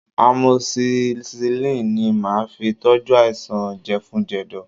Amoxicillin ni màá fi tọ́jú àìsàn jẹ̀fun-jẹ̀dọ̀